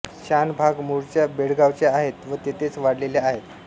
शानभाग मूळच्या बेळगावच्या आहेत व तेथेच वाढलेल्या आहेत